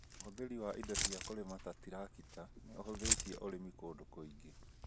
ũthĩri wa indo cia kũrĩma ta trakita nĩ ĩhũthĩtie ũrĩmi kũndũ kũingĩ